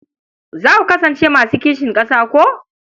Za ku kasance masu kishin ƙasa ko?